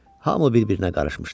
Hami bir-birinə qarışmışdı.